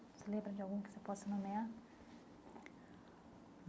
Você lembra de algum que você possa nomear?